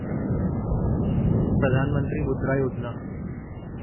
Pradhan Mantri Mudra Yojana